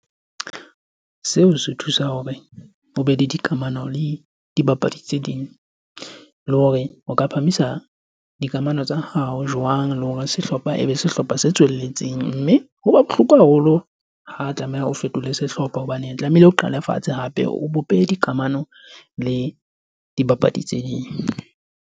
Seo se thusa hore ho be le dikamano le dibapadi tse ding. Le hore o ka phamisa dikamano tsa hao jwang, le hore sehlopha e be se sehlopha se tswelelletseng. Mme ho ba bohloko haholo ha tlameha ho fetola sehlopha hobane tlamehile o qale fatshe, hape o bope dikamano le dibapadi tse ding.